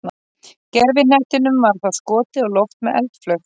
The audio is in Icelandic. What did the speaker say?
Gervihnettinum var þá skotið á loft með eldflaug.